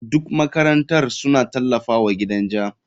Duk makarantar suna tallafawa gidan ja.